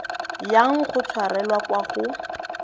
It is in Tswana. yang go tshwarelwa kwa go